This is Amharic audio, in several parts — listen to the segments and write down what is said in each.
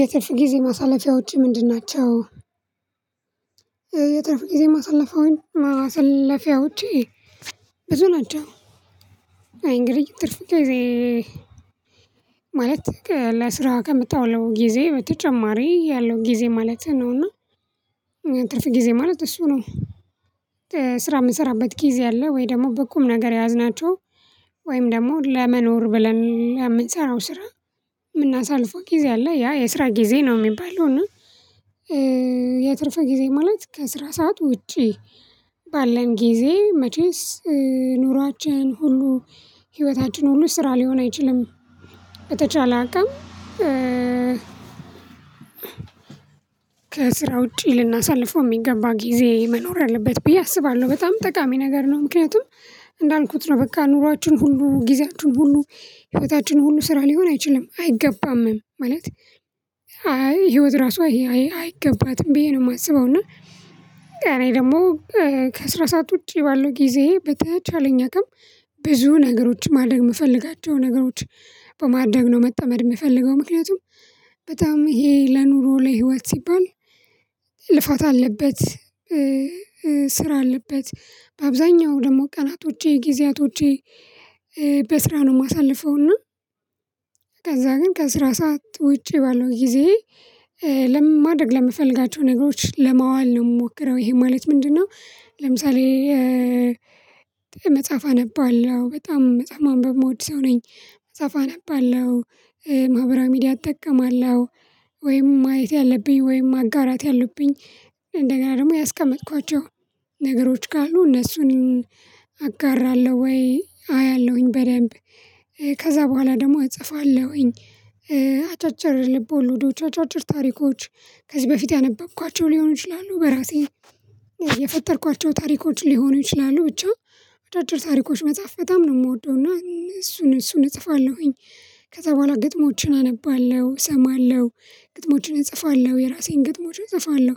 የትርፍ ጊዜ ማሳለፊያዎችህ ምንድን ናቸው? የትርፍ ጊዜ ማሳለፊያውን ማሰለፊያዎቼ ብዙ ናቸው። አይ እንግዲህ ትርፍ ጊዜ ማለት ለስራዋ ከምታውለው ጊዜ በተጨማሪ ያለው ጊዜ ማለትህ ነውና እና እኛ ትርፍ ጊዜ ማለት እሱ ነው። ስራ የምንሰራበት ጊዜ አለ ወይ ደግሞ በቁም ነገር የያዝናቸው ወይም ደግሞ ለመኖር ብለን የምንሰራው ስራ የምናሳልፈው ጊዜ አለ ያ የስራ ጊዜ ነው የሚባለው እና። የትርፍ ጊዜ ማለት ከስራ ሰዓት ውጪ ባለን ጊዜ መቼስ ኑሯችን ሁሉ ህይወታችን ሁሉ ስራ ሊሆን አይችልም። በተቻለ አቅም ከስራ ውጪ ልናሳልፈው የሚገባ ጊዜ መኖር አለበት ብዬ አስባለሁ በጣም ጠቃሚ ነገር ነው። ምክንያቱም እንዳልኩት ነው በቃ ኑሯችን ሁሉ ጊዜያችን ሁሉ ህይወታችን ሁሉ ስራ ሊሆን አይችልም አይገባም ማለት። አይ ህይወት ራሱ አይ አይገባትም ብዬ ነው የማስበው። እና እኔ ደግሞ ከስራ ሰዓት ውጪ ባለው ጊዜ በተቻለኝ አቅም ብዙ ነገሮች ማደረግ የምፈልጋቸው ነገሮች በማድረግ ነው መጠመድ የምፈልገው። ምክንያቱም በጣም ይሄ ለኑሮ ላይ ህይወት ሲባል ልፋት አለበት። ስራ አለበት በአብዛኛው ደግሞ ቀናቶቼ ጊዜያቶቼ በስራ ነው የማሳልፈውና። ከዛ ግን ከአስራ ሰዓት ውጪ ባለው ጊዜዬ ለ ማድረግ ለምፈልጋቸው ነገሮች ለማዋል ነው የምሞክረው። ይሄ ማለት ምንድነው? ለምሳሌ መጽሐፍ አነባለሁ በጣም መጽሐፍ ማንበብ ምወድ ሰው ነኝ። መጽሐፍ አነባለሁ። ማ ማህበራዊ ሚዲያ እጠቀማለሁ ወይም ማየት ያለብኝ ወይም ማጋራት ያሉብኝ እንደገና ደግሞ ያስቀመጥኳቸው ነገሮች ካሉ እነሱን አጋራለሁ ወይ አያለሁኝ በደንብ ከዛ በኋላ ደግሞ እጽፋለሁኝ። አጫጭር ልብ ወለዶች አጫጭር ታሪኮች ከዚህ በፊት ያነበብኳቸው ሊሆኑ ይችላሉ በራሴ የፈጠርኳቸው ታሪኮች ሊሆኑ ይችላሉ ብቻ አጫጭር ታሪኮች መጻፍ በጣም ነው የምወደው እና እሱን እሱን እጽፋለሁኝ። ከዛ በኋላ ግጥሞችን አነባለሁ እሰማለሁ ግጥሞችን እጽፋለሁ የራሴን ግጥሞችን እጽፋለሁ።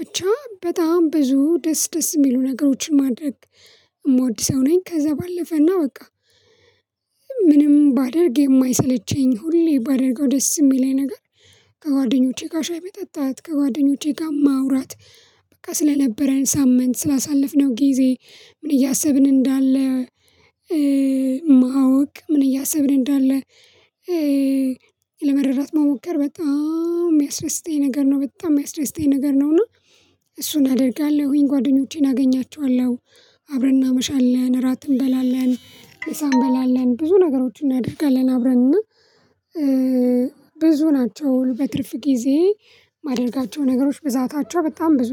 ብቻ በጣም ብዙ ደስ ደስ የሚሉ ነገሮችን ማድረግ የምወድ ሰው ነኝ። ከዛ ባለፈና በቃ ምንም ባደርግ የማይሰለቸኝ ሁሌ ባደርገው ደስ የሚለኝ ነገር ከጓደኞቼ ጋር ሻይ መጠጣት ከጓደኞቼ ጋር ማውራት። በቃ ስለነበረን ሳምንት ስላሳለፍነው ጊዜ ምን እያሰብን እንዳለ ማወቅ ምን እያሰብን እንዳለ ለመረዳት መሞከር በጣም የሚያስደስተኝ ነገር ነው። በጣም የሚያስደስተኝ ነገር ነው እና እሱን አደርጋለሁኝ ጓደኞቼን አገኛቸዋለሁ። አብረን እናመሻለን እራት እንበላለን ምሳ እንበላለን ብዙ ነገሮችን እናደርጋለን አብረን እና ብዙ ናቸው በትርፍ ጊዜ የማደርጋቸው ነገሮች ብዛታቸው በጣም ብዙ ነው